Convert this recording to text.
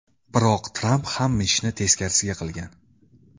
Biroq Tramp hamma ishni teskarisiga qilgan.